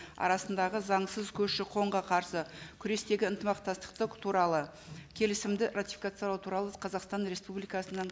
арасындағы заңсыз көші қонға қарсы күрестегі ынтымақтастықтық туралы келісімді ратификациялау туралы қазақстан республикасының